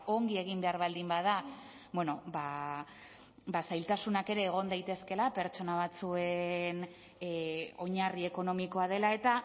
ongi egin behar baldin bada zailtasunak ere egon daitezkeela pertsona batzuen oinarri ekonomikoa dela eta